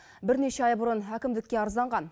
бірнеше ай бұрын әкімдікке арызданған